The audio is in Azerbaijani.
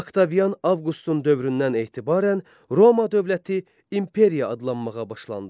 Oktavian Avqustun dövründən etibarən Roma dövləti imperiya adlanmağa başlandı.